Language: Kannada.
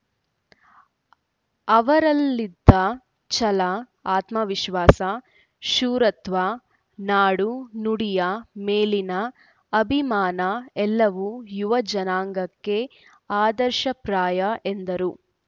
ಅವರಲ್ಲಿದ್ದ ಛಲ ಆತ್ಮವಿಶ್ವಾಸ ಶೂರತ್ವ ನಾಡುನುಡಿಯ ಮೇಲಿನ ಅಭಿಮಾನ ಎಲ್ಲವೂ ಯುವಜನಾಂಗಕ್ಕೆ ಆದರ್ಶಪ್ರಾಯ ಎಂದರು